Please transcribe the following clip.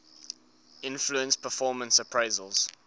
influence performance appraisals